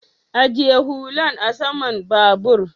ajiye hullan a saman babur